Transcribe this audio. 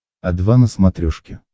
о два на смотрешке